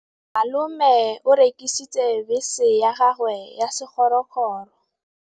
Malome o rekisitse bese ya gagwe ya sekgorokgoro.